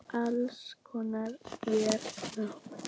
allir loks vér náum.